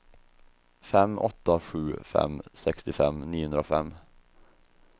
fem åtta sju fem sextiofem niohundrafem